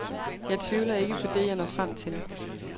Jeg tvivler ikke på det, jeg når frem til.